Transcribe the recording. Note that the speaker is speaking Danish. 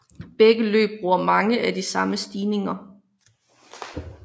Begge løb bruger mange af de samme stigninger